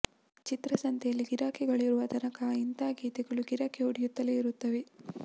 ಚಿತ್ರಸಂತೆಯಲ್ಲಿ ಗಿರಾಕಿಗಳು ಇರುವ ತನಕ ಇಂಥಾ ಗೀತೆಗಳು ಗಿರಕಿ ಹೊಡೆಯುತ್ತಲೇ ಇರುತ್ತವೆ